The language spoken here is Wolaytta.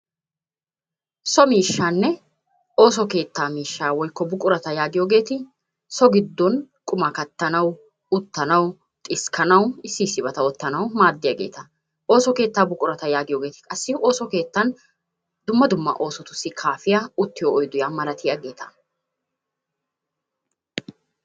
So miishshaanne ooso keettaa miishshaa woykko buqurata yaagiyogeeti so giddon qumaa kattanawu, uttanawu, xiskkanawu issi issibata oottanawu maaddiyageeta. Ooso keettaa buqurata yaagiyogeeti qassi ooso keettan dumma dumma oosotussi kaafiya uttiyo oydiya malatiyageeta.